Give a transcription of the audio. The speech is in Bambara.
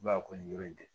I b'a kɔni yɔrɔ in kɛ